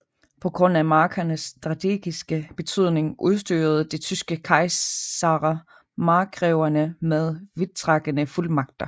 På grund af markernes strategiske betydning udstyrede de tyske kejsere markgreverne med vidtrækkende fuldmagter